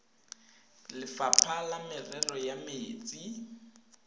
lefapha la merero ya metsi